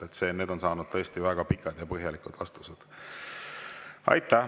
Need küsimused on saanud tõesti väga pikad ja põhjalikud vastused.